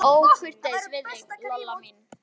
Var ég nokkuð ókurteis við þig, Lolla mín?